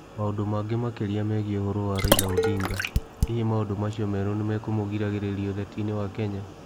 Maũndũ mangĩ makĩria megiĩ ũhoro wa Raila Odinga: Hihi maũndũ macio merũ nĩ nimekumugirĩragiria ũtetinĩ wa Kenya?